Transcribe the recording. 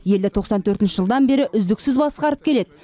елді тоқсан төртінші жылдан бері үздіксіз басқарып келеді